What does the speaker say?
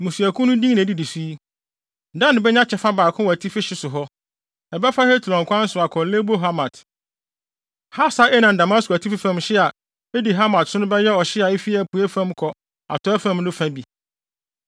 “Mmusuakuw no din na edidi so yi: “Dan benya kyɛfa baako wɔ atifi hye so hɔ; ɛbɛfa Hetlon kwan so akɔ Lebo Hamat, Hasar-Enan ne Damasko atifi fam hye a edi Hamat so no bɛyɛ ɔhye a efi apuei fam kɔ atɔe fam no fa bi.